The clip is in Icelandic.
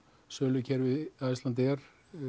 sölukerfi Icelandair